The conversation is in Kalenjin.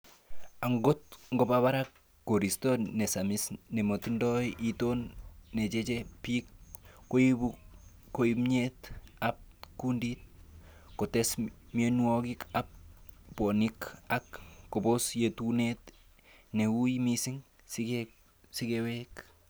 Angot koba barak koriisto nesamis nemotindoi iton necheche bik, koibu koimutyet ab kundit, kotes mionwogik ab bwonek ak kobos yetunet ne ui missing sikewek.